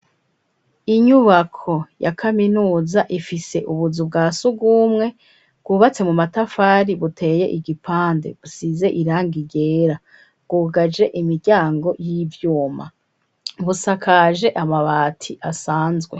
Inyubako, ya kaminuza, ifise ubuzu bwa surwumwe, bwubatse mu matafari, buteye igipande, busize irangi ryera; bwugaje imiryango, y'ivyuma, busakaje amabati, asanzwe.